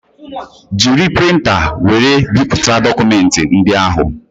Jiri printa wéré bipụta dokumenti ndị ahụ